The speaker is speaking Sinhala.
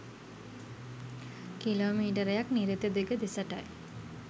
කිලෝ මීටරයක් නිරිත දිග දෙසටයි